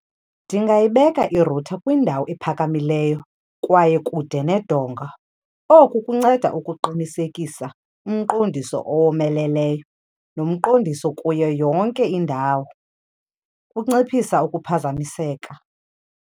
Ndingayibeka irutha kwindawo ephakamileyo kwaye kude nedonga. Oku kunceda ukuqinisekisa umqondiso owomeleleyo nomqondiso kuyo yonke indawo, kunciphisa ukuphazamiseka.